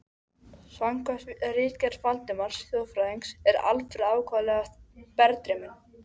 Samkvæmt ritgerð Valdimars þjóðfræðings er Alfreð ákaflega berdreyminn.